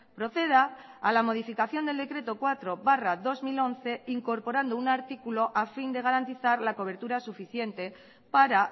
proceda a la modificación del decreto cuatro barra dos mil once incorporando un artículo a fin de garantizar la cobertura suficiente para